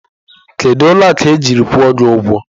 Kedu ụlọ akụ ejiri kwụọ gị ụgwọ?